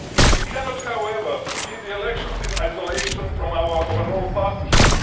We cannot, however, see the elections in isolation from our overall partnership.